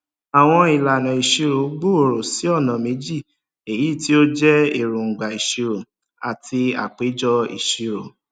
àwọn ìlànà ìṣirò gbòòrò sí ọnà meji èyí tí ó jẹ èróńgbà ìṣirò àti àpéjọ ìṣirò